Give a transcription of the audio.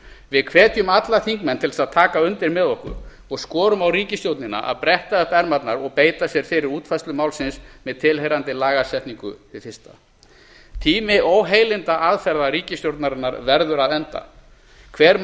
við hvetjum alla þingmenn til þess að taka undir með okkur og skorum á ríkisstjórnina að bretta upp ermarnar og beita sér fyrir útfærslu málsins með tilheyrandi lagasetningu hið fyrsta tími óheilindaaðferða ríkisstjórnarinnar verður að enda hver